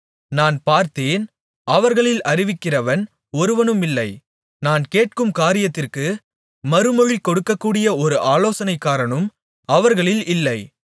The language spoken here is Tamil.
நான் பார்த்தேன் அவர்களில் அறிவிக்கிறவன் ஒருவனுமில்லை நான் கேட்கும் காரியத்திற்கு மறுமொழி கொடுக்கக்கூடிய ஒரு ஆலோசனைக்காரனும் அவர்களில் இல்லை